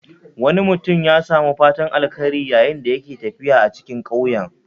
Wani mutum ya samu fatan alkhairi yayin da yake tafiya a cikin ƙauyen